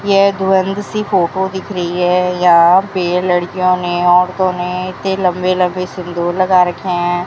ये धुंधली सी फोटो दिख रही है यहां पे लड़कियों ने औरतों ने इतने लंबे लंबे सिंदूर लगा रखे हैं।